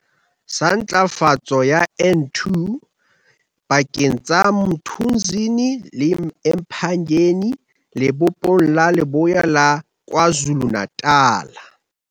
sa Ntlafatso ya N2 pakeng tsa Mthunzini le eMpangeni Lebopong la Leboya la Kwa Zulu-Natal.